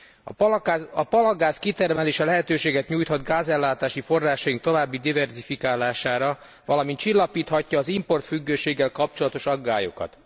A palagáz kitermelése lehetőséget nyújthat gázellátási forrásaink további diverzifikálására, valamint csillapíthatja az importfüggőséggel kapcsolatos aggályokat.